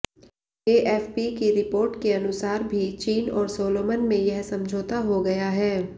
AFP की report के अनुसार भी चीन और सोलोमन में यह समझौता हो गया है